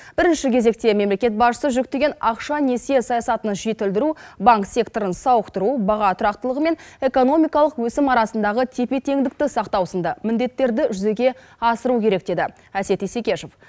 бірінші кезекте мемлекет басшысы жүктеген ақша несие саясатын жетілдіру банк секторын сауықтыру баға тұрақтылығы мен экономикалық өсім арасындағы тепе теңдікті сақтау сынды міндеттерді жүзеге асыру керек деді әсет исекешев